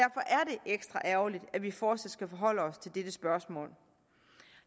ekstra ærgerligt at vi fortsat skal forholde os til dette spørgsmål